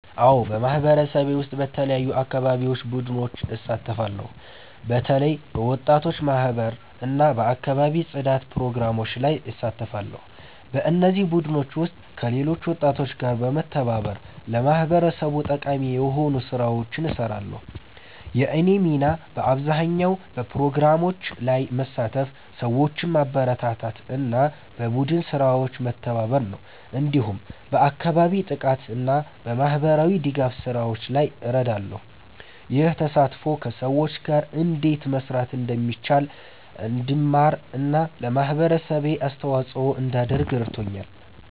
አዎን፣ በማህበረሰቤ ውስጥ በተለያዩ የአካባቢ ቡድኖች እሳተፋለሁ። በተለይ በወጣቶች ማህበር እና በአካባቢ ጽዳት ፕሮግራሞች ላይ እሳተፋለሁ። በእነዚህ ቡድኖች ውስጥ ከሌሎች ወጣቶች ጋር በመተባበር ለማህበረሰቡ ጠቃሚ የሆኑ ስራዎችን እንሰራለን። የእኔ ሚና በአብዛኛው በፕሮግራሞች ላይ መሳተፍ፣ ሰዎችን ማበረታታት እና በቡድን ስራዎች መተባበር ነው። እንዲሁም በአካባቢ ጥበቃ እና በማህበራዊ ድጋፍ ስራዎች ላይ እረዳለሁ። ይህ ተሳትፎ ከሰዎች ጋር እንዴት መስራት እንደሚቻል እንድማር እና ለማህበረሰቤ አስተዋጽኦ እንዳደርግ ረድቶኛል።